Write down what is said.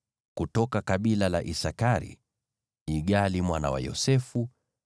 kutoka kabila la Isakari, Igali mwana wa Yosefu;